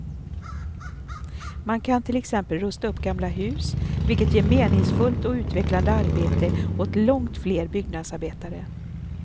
Man kan till exempel rusta upp gamla hus, vilket ger meningsfullt och utvecklande arbete åt långt fler byggnadsarbetare.